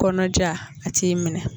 Kɔnɔja, a t'i minɛ.